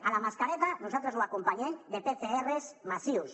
a la mascareta nosaltres l’acompanyem de pcrs massius